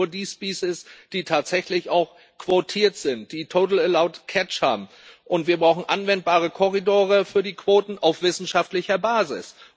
Das heißt nur die species die tatsächlich auch quotiert sind, die total allowed catch haben. Und wir brauchen anwendbare Korridore für die Quoten auf wissenschaftlicher Basis.